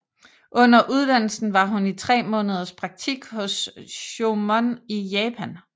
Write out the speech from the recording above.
Under uddannelsen var hun i tre måneders praktik hos Choemon i Japan